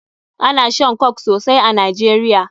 Ana shan Coke sosai a Nigeria.